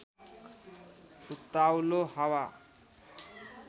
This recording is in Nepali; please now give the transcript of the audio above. उत्ताउलो हावा